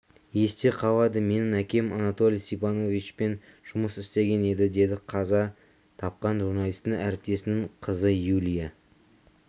есте қалады менің әкем анатолий степановичпен жұмыс істеген еді деді қаза тапқан журналистің әріптесінің қызыюлия